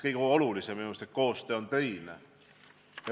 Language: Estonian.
Kõige olulisem on minu meelest see, et koostöö on töine.